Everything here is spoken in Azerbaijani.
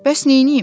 Bəs neyləyim?